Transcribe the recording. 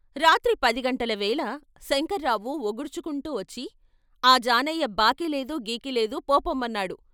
రాత్రి పది గంటల వేళ శంకర్రావు వొగుర్చుకుంటూ వచ్చి ఆ జానయ్య బాకీలేదు గీకిలేదు ఫో పొమ్మన్నాడు.